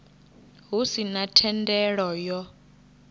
hu si na thendelo yo